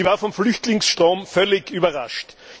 Sie war vom Flüchtlingsstrom völlig überrascht.